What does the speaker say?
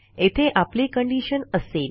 येथे आपली कंडिशन असेल